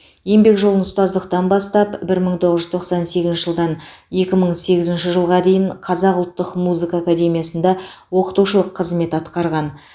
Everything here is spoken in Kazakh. еңбек жолын ұстаздықтан бастап бір мың тоғыз жүз тоқсан сегізінші жылдан екі мың сегізінші жылға дейін қазақ ұлттық музыка академиясында оқытушылық қызмет атқарған